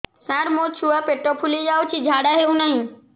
ସାର ମୋ ଛୁଆ ପେଟ ଫୁଲି ଯାଉଛି ଝାଡ଼ା ହେଉନାହିଁ